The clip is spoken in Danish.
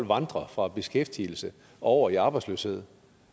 vandrer fra beskæftigelse over i arbejdsløshed